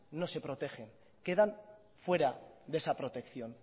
no se protegen quedan fuera de esa protección